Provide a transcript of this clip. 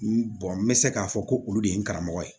N n bɛ se k'a fɔ ko olu de ye n karamɔgɔ ye